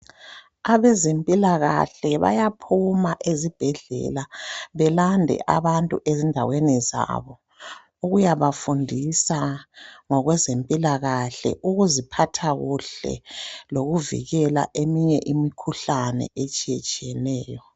abezempilakahle bayaphuma ezibhedlela belanda abantu endaweni zawo ukuyabafundisa ngokwezempilakahle ukuziphathakuhle lokuzivikela eminye imukhuhlane ehlukeneyo